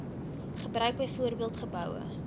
gebruik byvoorbeeld geboue